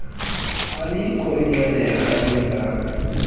alikho inqenerha elingakha